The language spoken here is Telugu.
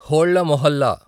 హోళ్ల మొహల్లా